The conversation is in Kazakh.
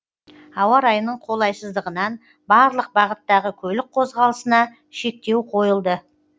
ауа райының қолайсыздығынан барлық бағыттағы көлік қозғалысына шектеу қойылды